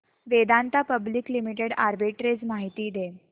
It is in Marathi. वेदांता पब्लिक लिमिटेड आर्बिट्रेज माहिती दे